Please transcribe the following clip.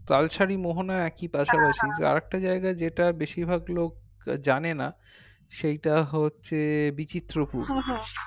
তালশাড়ি মোহনা একই আরেকটা জায়গায় যেটা বেশিরভাগলোক যানে না সেইটা হচ্ছে বীচিত্রপুর